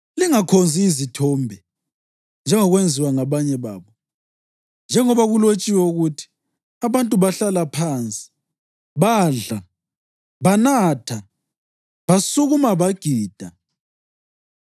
Lingakhonzi izithombe, njengokwenziwa ngabanye babo; njengoba kulotshiwe ukuthi: “Abantu bahlala phansi badla, banatha, basukuma bagida.” + 10.7 U-Eksodasi 32.6